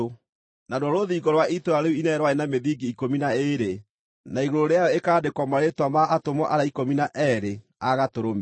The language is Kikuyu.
Naruo rũthingo rwa itũũra rĩu inene rwarĩ na mĩthingi ikũmi na ĩĩrĩ, na igũrũ rĩayo ĩkaandĩkwo marĩĩtwa ma atũmwo arĩa ikũmi na eerĩ a Gatũrũme.